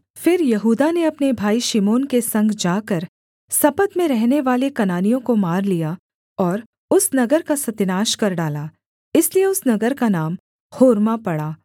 फिर यहूदा ने अपने भाई शिमोन के संग जाकर सपत में रहनेवाले कनानियों को मार लिया और उस नगर का सत्यानाश कर डाला इसलिए उस नगर का नाम होर्मा पड़ा